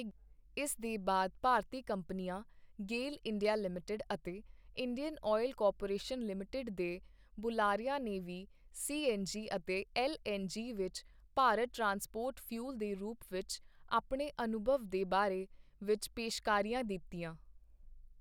ਇਸ ਦੇ ਬਾਅਦ ਭਾਰਤੀ ਕੰਪਨੀਆਂ, ਗੇਲ ਇੰਡੀਆ ਲਿਮਟਿਡ ਅਤੇ ਇੰਡੀਅਨ ਆਇਲ ਕਾਰਪੋਰੇਸ਼ਨ ਲਿਮਟਿਡ ਦੇ ਬੁਲਾਰਿਆਂ ਨੇ ਵੀ ਸੀਐੱਨਜੀ ਅਤੇ ਐੱਨਜੀ ਵਿੱਚ ਭਾਰਤ ਟਰਾਂਸਪੋਰਟ ਫਿਊਲ ਦੇ ਰੂਪ ਵਿੱਚ ਆਪਣੇ ਅਨੁਭਵ ਦੇ ਬਾਰੇ ਵਿੱਚ ਪੇਸ਼ਕਾਰੀਆਂ ਦਿੱਤੀਆਂ।